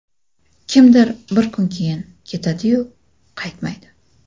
kimdir bir kun keyin… Ketadi-yu, qaytmaydi.